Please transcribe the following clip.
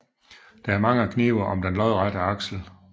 Der er mange knive om den lodrette aksel